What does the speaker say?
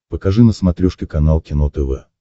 покажи на смотрешке канал кино тв